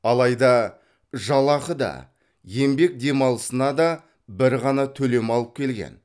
алайда жалақы да еңбек демалысына да бір ғана төлем алып келген